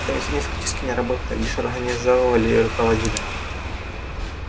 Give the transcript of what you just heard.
сами свиньи фактически не работали а лишь организовывали и руководили